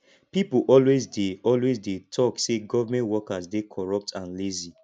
people always dey always dey talk say government workers dey corrupt and lazy